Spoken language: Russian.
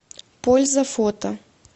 польза фото